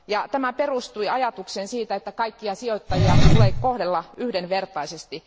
Tämä perustui ajatukseen siitä, että kaikkia sijoittajia tulee kohdella yhdenvertaisesti.